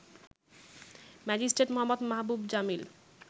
Magistrate Md. Mahabub Jamil